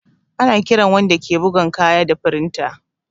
Ana kiran wanda ke bugan kaya da firinta